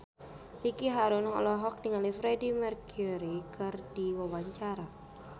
Ricky Harun olohok ningali Freedie Mercury keur diwawancara